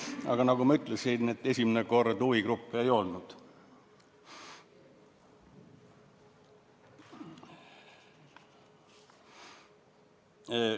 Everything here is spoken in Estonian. Aga nagu ma ütlesin, esimene kord huvigruppe ei olnud.